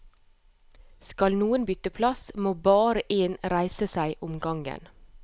Skal noen bytte plass, må bare én reise seg om gangen.